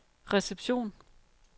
reception